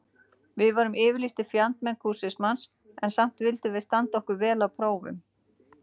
Við vorum yfirlýstir fjandmenn kúrismans, en samt vildum við standa okkur vel á prófum.